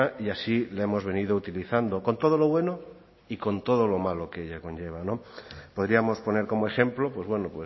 y así la hemos venido utilizando con todo lo bueno y con todo lo malo que ello conlleva no podríamos poner como ejemplo pues bueno